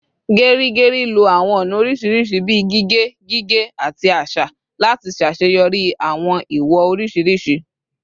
Geri Geri lo awọn ọna oriṣiriṣi bii gige, gige, ati aṣa lati ṣaṣeyọri awọn iwo oriṣiriṣi